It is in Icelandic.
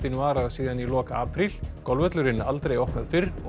varað síðan í lok apríl golfvöllurinn aldrei opnað fyrr og